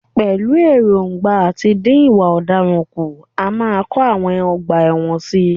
Pẹ̀lú ẹ̀ròǹgbà àti dín ìwà ọ̀daràn kù, a máa kọ àwọn ọgbà ẹ̀wọ̀n sí i.